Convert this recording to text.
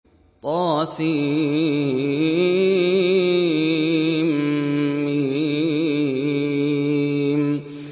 طسم